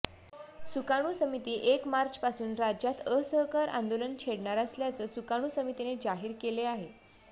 सुकाणू समिती एक मार्चपासून राज्यात असहकार आंदोलन छेडणार असल्याचं सुकाणू समितीने जाहीर केले आहे